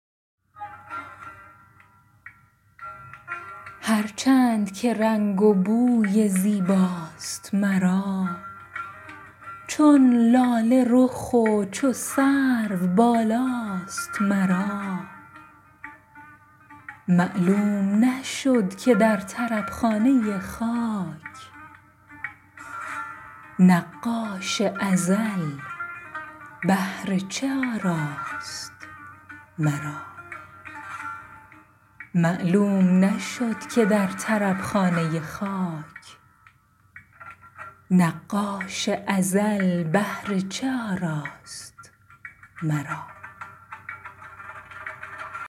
هر چند که رنگ و بوی زیباست مرا چون لاله رخ و چو سرو بالاست مرا معلوم نشد که در طرب خانه خاک نقاش ازل بهر چه آراست مرا